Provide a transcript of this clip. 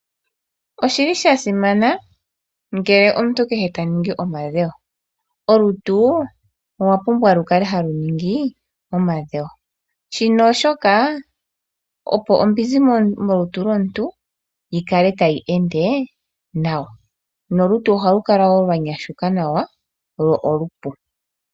Oshi li shasima ngele omuntu kehe ta ningi omadhewo. Olutu olwa pumbwa oku kala talu ningi omadhewo, oshoka ohashi kwathele ombizi yi kale tayi ende nawa nolutu lwa nyashuka nawa.